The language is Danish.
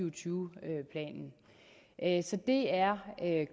og tyve planen så det er